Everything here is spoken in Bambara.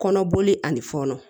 Kɔnɔboli ani fɔnɔ